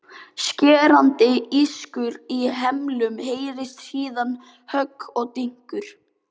Skerandi ískur í hemlum heyrist, síðan högg og dynkur.